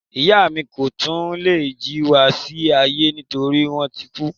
Ìyá mi ko tun lè jí wá sí ayé nitori wọn ti kú.